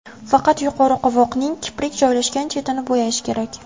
Faqat yuqori qovoqning kiprik joylashgan chetini bo‘yash kerak.